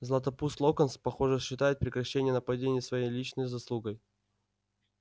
златопуст локонс похоже считал прекращение нападений своей личной заслугой